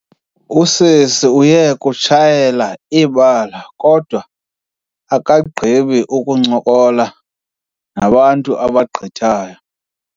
Usisi uye kutshayela ibali kodwa akagqibi kuba uncokola nabantu abagqithayo.